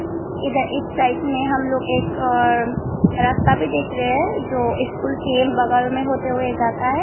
इधर इस साइड में हम लोग एक रास्ता भी देख रहे हैं जो स्कूल के बगल में होते हुए जाता है।